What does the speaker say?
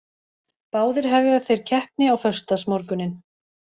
Báðir hefja þeir keppni á föstudagsmorguninn